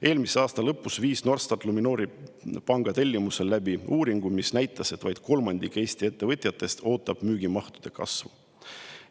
Eelmise aasta lõpus viis Norstat Luminori panga tellimusel läbi uuringu, mis näitas, et vaid kolmandik Eesti ettevõtjatest ootab müügimahtude kasvu.